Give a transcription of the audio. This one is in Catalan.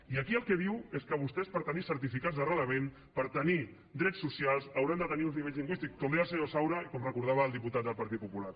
i aquí el que diu és que vostès per tenir certificats d’arrelament per tenir drets social hauran de tenir uns nivells lingüístics com deia el senyor saura i com recordava el diputat del partit popular